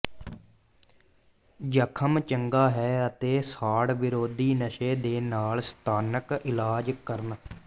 ਜ਼ਖ਼ਮ ਚੰਗਾ ਹੈ ਅਤੇ ਸਾੜ ਵਿਰੋਧੀ ਨਸ਼ੇ ਦੇ ਨਾਲ ਸਥਾਨਕ ਇਲਾਜ ਕਰਨ